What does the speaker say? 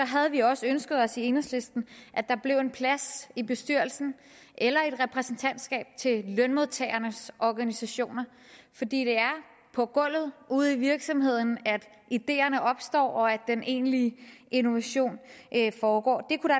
havde vi også ønsket os i enhedslisten at der blev en plads i bestyrelsen eller i et repræsentantskab til lønmodtagernes organisationer fordi det er på gulvet ude i virksomhederne at ideerne opstår og at den egentlige innovation foregår